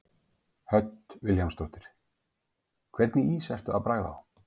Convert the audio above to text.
Hödd Vilhjálmsdóttir: Hvernig ís ertu að bragða á?